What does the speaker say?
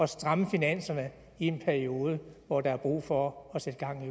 stramme finanserne i en periode hvor der er brug for at sætte gang